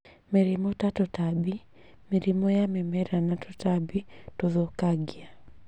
Mĩrimũ ta tũtambi: Mĩrimũ ya mĩmera na tũtambi tũthũkangia